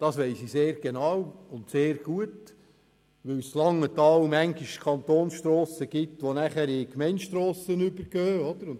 Das weiss ich sehr genau und sehr gut, weil es in Langenthal Kantonstrassen gibt, die in Gemeindestrassen übergehen: